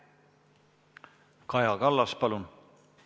Kaja Kallas, palun!